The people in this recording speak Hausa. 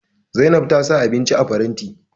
Zainab ta sa abinci a faranti